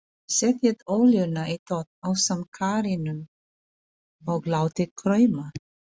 Setjið olíuna í pott ásamt karríinu og látið krauma.